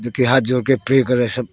जोकि हाथ जोड़ के प्रे कर रहा है सब।